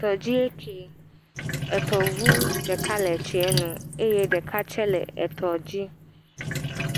Tɔdzi eke etɔʋu ɖeka tsie nu eye ɖeka tsɛ tɔdzi